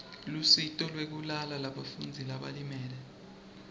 lusito lwekulala lebafundzi labalimele